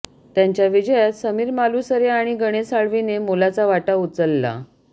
त्यांच्या विजयात समीर मालुसरे आणि गणेश साळवीने मोलाचा वाटा उचलला